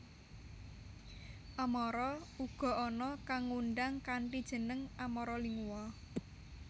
Amara uga ana kang ngundang kanthi jeneng Amara Lingua